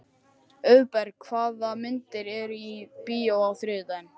Auðberg, hvaða myndir eru í bíó á þriðjudaginn?